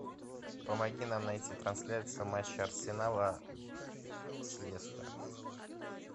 помоги нам найти трансляцию матча арсенала с лестером